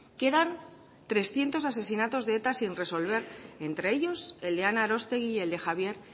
quedan trescientos asesinatos de eta sin resolver entre ellos el de ana arostegui y el de javier